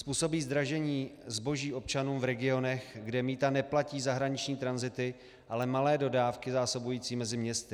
Způsobí zdražení zboží občanům v regionech, kde mýta neplatí zahraniční tranzity, ale malé dodávky zásobující mezi městy.